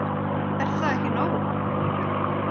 Er það ekki nóg?